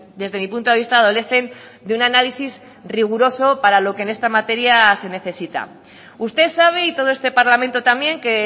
desde mi punto de vista adolecen de un análisis riguroso para lo que en esta materia se necesita usted sabe y todo este parlamento también que